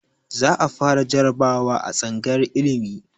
Za a fara jarabawa a tsangayar ilimi